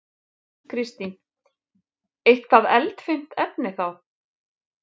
Kristín: Eitthvað eldfimt efni þá?